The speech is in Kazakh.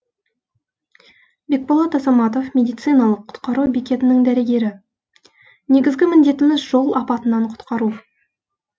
бекболат азаматов медициналық құтқару бекетінің дәрігері негізгі міндетіміз жол апатынан құтқару